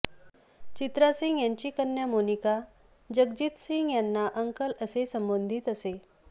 चित्रा सिंग यांची कन्या मोनिका जगजितसिंग यांना अंकल असे संबोधित असे